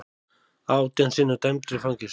Átján sinnum dæmdur í fangelsi